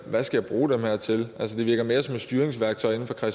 skal bruge dem til altså det virker mere som et styringsværktøj inde fra